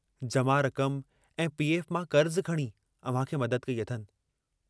जमा रकम ऐं पी. एफ मां कर्जु खणी अव्हां खे मदद कई अथनि।